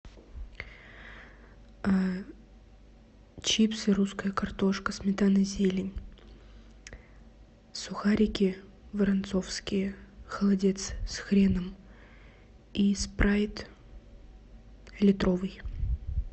чипсы русская картошка сметана зелень сухарики воронцовские холодец с хреном и спрайт литровый